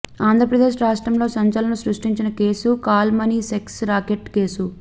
ఆంధ్రప్రదేశ్ రాష్ట్రంలో సంచలనం సృష్టించిన case call money sex racket case